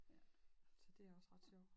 Ja så det også ret sjovt